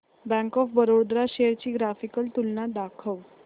bank of Baroda shares ची graphical तुलना दाखव